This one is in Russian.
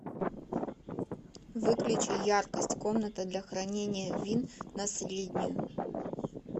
выключи яркость комната для хранения вин на среднюю